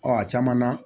Ɔ a caman na